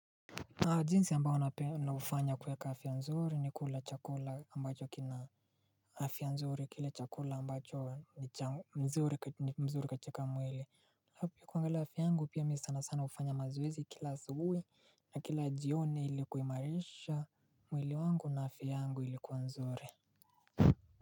Jinsi ambayo naufanya kuweka afya nzuri ni kula chakula ambacho kina afya nzuri kile chakula ambacho mzuri katika mwili. Alafu pia ukiangalia afya yangu pia mimi sana sana hufanya mazoezi kila asubuhi na kila jioni ili kuimarisha mwili wangu na afya yangu ilikuwa nzuri.